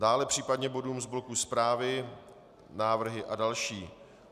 Dále případně bodům z bloku zprávy, návrhy a další.